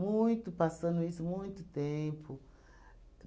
Muito, passando isso, muito tempo.